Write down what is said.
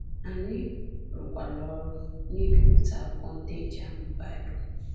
Anyị rụkwara ọrụ n’ibipụta akwụkwọ ndị e ji amụ Baịbụl.